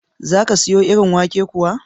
Za ka siro irin wake kuwa?